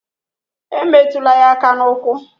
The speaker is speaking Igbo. Emetụla ya aka n'ukwu